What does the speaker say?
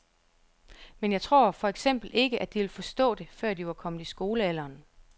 Men jeg tror for eksempel ikke at de ville forstå det, før de var kommet i skolealderen.